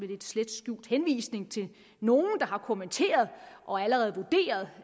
lidt slet skjult henvisning til nogle der har kommenteret og allerede vurderet